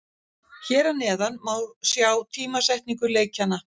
Hér að neðan má sjá tímasetningu leikjanna.